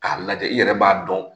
K'a lajɛ, i yɛrɛ b'a dɔn